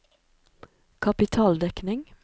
kapitaldekning